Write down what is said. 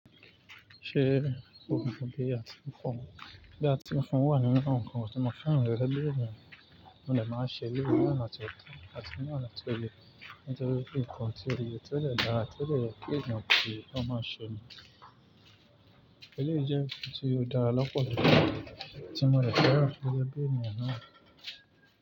Ṣé o mọ bí a ti ń fọn? Bí a ti ń fọn wà nínú nǹkan tí mo fẹ́ rẹ́rẹ́ béèrè mo ni màá ṣẹlẹ̀. Mo ní àti ọ̀tá, àti ní àti oyè, àti inú ìkànnì tí o lè dáa, tí o lè gbé nù kí o máa ṣe ni. Ṣé lè jẹ́ èyí tí o dára lọ́pọ̀ sí i, tí mo lè fẹ́ rẹ́rẹ́ béèrè ènìyàn náà?